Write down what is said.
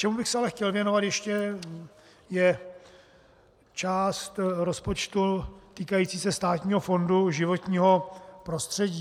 Čemu bych se ale chtěl věnovat ještě, je část rozpočtu týkající se Státního fondu životního prostředí.